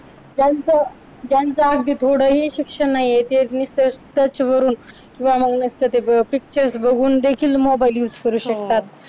ज्यांचा अगदी थोडही शिक्षण नाहीये ते निसत search वरून फक्त picture बघून देखील mobile use करू शकतात हो